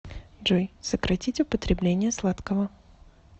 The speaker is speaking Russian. джой сократить употребление сладкого